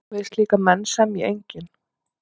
Við slíka menn semji enginn.